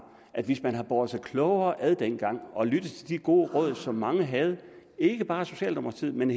at hvis man havde båret sig klogere ad dengang og lyttet til de gode råd som mange havde ikke bare socialdemokratiet men